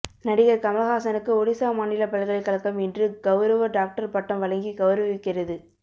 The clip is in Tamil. நடிகர் கமல்ஹாசனுக்கு ஒடிசா மாநில பல்கலைக்கழகம் இன்று கவுரவ டாக்டர் பட்டம் வழங்கி கவுரவிக்கிறது